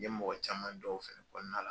N ye mɔgɔ caman dɔw fɛnɛ dɔn o kɔnɔna la.